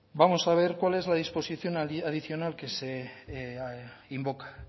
vamos a ver cuál es la disposición adicional que se invoca